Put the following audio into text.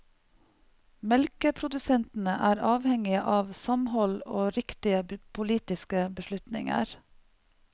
Melkeprodusentene er avhengige av samhold og riktige politiske beslutninger.